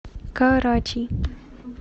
карачи